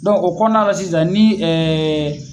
Dɔnku o kɔnɔna na sisan ni ɛɛ